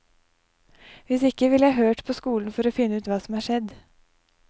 Hvis ikke ville jeg hørt på skolen for å finne ut hva som er skjedd.